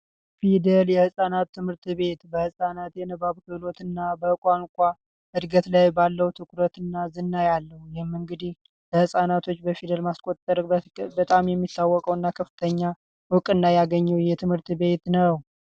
ፊደል የህፃናት ትምህርት ቤት በህፃናት እውቀትና የቋንቋ እድገት ላይ ባለው ትኩረትና ዝና ያለው ነው። እንግዲህ ለህፃናቶች ፊደል በማስቆጠር በጣም የሚታወቀውና ከፍተኛ እውቅና ያገኘው ይህ ትምህርት ቤት ነው።